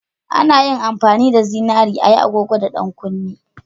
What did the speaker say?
A na amfani da zinari a yi agogo da 'yan kunne